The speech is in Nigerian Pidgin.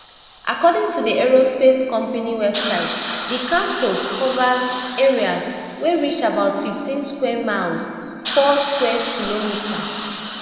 according to di aerospace company website di campus covers area wey reach about fifteen square miles four sq km